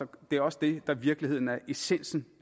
det er også det der i virkeligheden er essensen